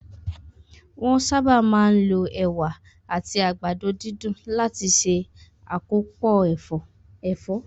Wón sáábà máa ń lo Ẹ̀wà àti àgbàdo dídùn láti se akopo ẹ̀fọ́